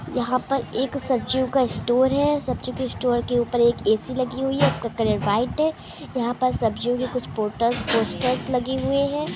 यहां पर एक सब्जियों का स्टोर है सब्जी के स्टोर के ऊपर एक ए_सी लगी हुई है जिसका कलर वाइट है यहां पर सब्जियों के कुछ पोस्टर लगे हुए है।